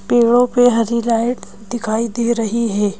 पेड़ों पे हरी लाइट दिखाई दे रही है।